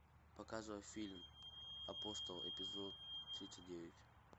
показывай фильм апостол эпизод тридцать девять